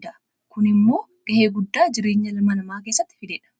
keessatti gahee guddaa fidedha.